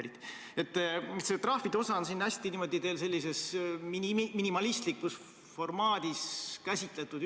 Nii et see trahvide osa on teil niimoodi hästi minimalistlikus formaadis käsitletud.